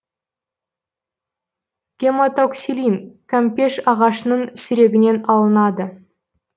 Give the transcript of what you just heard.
гематоксилин кампеш ағашының сүрегінен алынады